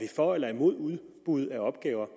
for eller imod udbud af opgaver